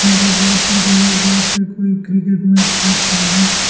यहां पे बहुत सारे लोग बैठ के कोई क्रिकेट मैच देख रहे हैं।